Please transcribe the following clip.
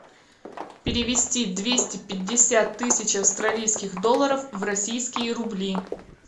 перевести двести пятьдесят тысяч австралийских долларов в российские рубли